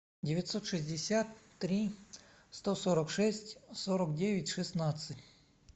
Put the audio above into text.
девятьсот шестьдесят три сто сорок шесть сорок девять шестнадцать